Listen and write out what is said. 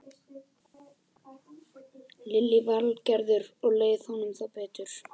Lillý Valgerður: Og leið honum þá betur?